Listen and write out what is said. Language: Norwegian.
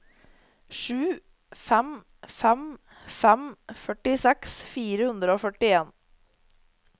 sju fem fem fem førtiseks fire hundre og førtien